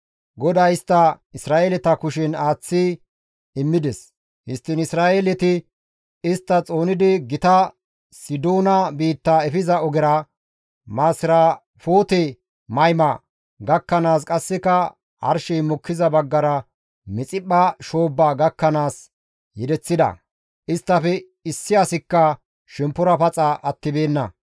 GODAY istta Isra7eeleta kushen aaththi immides; histtiin Isra7eeleti istta xoonidi gita Sidoona biitta efiza ogera, Masirafoote-Mayma gakkanaas qasseka arshey mokkiza baggara Mixiphpha shoobbaa gakkanaas yedeththida. Isttafe issi asikka shemppora paxa attibeenna.